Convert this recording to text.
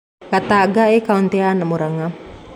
Gatanga ĩĩ kautĩ ya Murang'a